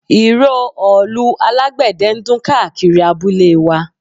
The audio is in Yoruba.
Ìró òòlù alágbẹ̀dẹ ń dún káàkiri abúlé wa